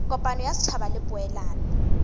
kopano ya setšhaba le poelano